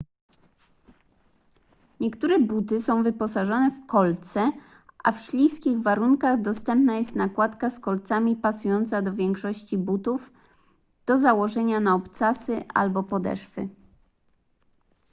niektóre buty są wyposażone w kolce a w śliskich warunkach dostępna jest nakładka z kolcami pasująca do większości butów do założenia na obcasy albo podeszwy